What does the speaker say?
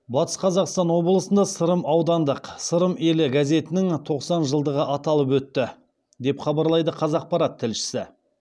батыс қазақстан облысында сырым аудандық сырым елі газетінің тоқсан жылдығы аталып өтті деп хабарлайды қазақпарат тілшісі